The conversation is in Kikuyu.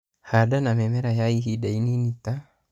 Handa na mĩmera ya ihinda inini ta